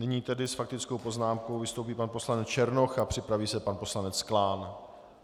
Nyní tedy s faktickou poznámkou vystoupí pan poslanec Černoch a připraví se pan poslanec Klán.